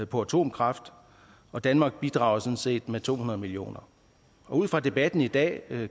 på atomkraft og danmark bidrager sådan set med to hundrede millioner ud fra debatten i dag